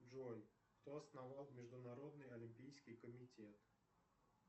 джой кто основал международный олимпийский комитет